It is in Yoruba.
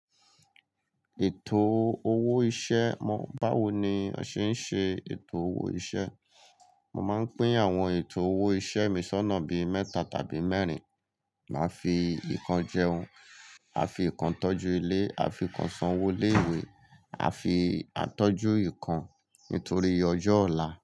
Ètò owó iṣẹ́ mọ̀, báwo ni a ṣe ń ṣe ètò owó iṣẹ́. Mo máa ń pín àwọn ètò owó iṣẹ́ mi ṣọ́nà bí i mẹ́ta tàbí mẹ́rin. Máa fi ìkan jẹun, àfi ìkan tọ́jú ilé, àfi ìkan san owó ilé ìwé, àtọ́jú ìkan nítorí ọjọ́ ọ̀la.